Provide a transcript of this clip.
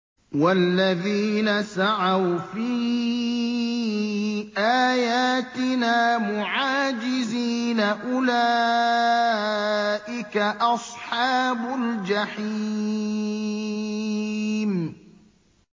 وَالَّذِينَ سَعَوْا فِي آيَاتِنَا مُعَاجِزِينَ أُولَٰئِكَ أَصْحَابُ الْجَحِيمِ